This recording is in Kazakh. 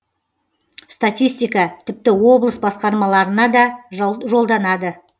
статистика тіпті облыс басқарамаларына да жолданады